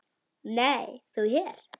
Nei, þú hér?